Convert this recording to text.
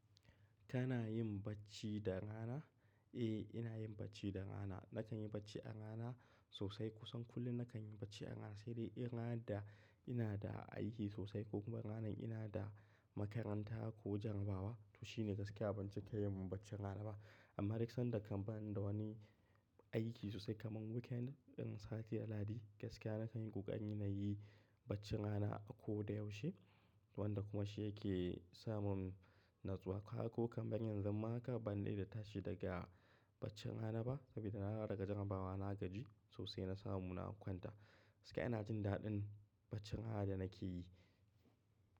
Tana yin bacci da rana? Eh, ina yin bacci da rana. Nakan yi bacci a rana sosai. Kusan kullum nakan yi bacci a rana, sai dai in ranar da, ina da aiki sosai ko kuma ranan ina da makaranta ko jarrabawa to shine gaskiya ban cika yin baccin rana ba. Amma duk sanda kan bani da wani aiki sosai kamar weekend in sati a lahadi gaskiya nakan yi kokari nayi na yi baccin rana ako da yaushe wanda kuma shi yake samun natsuwa. Ko kan ban yi zan ma haka ban dade da tashi daga baccin rana ba saboda na dawo daga jarrabawa na gaji sosai na samu na kwanta. Gaskiya ina jin daɗin bacci rana da nake yi.